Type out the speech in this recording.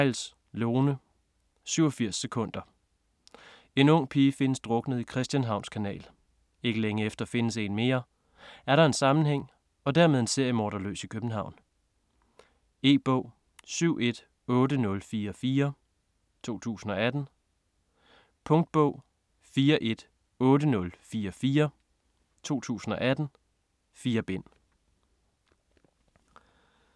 Theils, Lone: 87 sekunder En ung pige findes druknet i Christianshavns Kanal. Ikke længe efter findes en mere. Er der en sammenhæng - og dermed en seriemorder løs i København? E-bog 718044 2018. Punktbog 418044 2018. 4 bind.